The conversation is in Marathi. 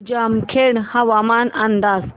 जामखेड हवामान अंदाज